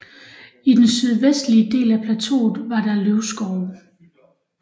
I den sydvestlige del af plateauet var der løvskove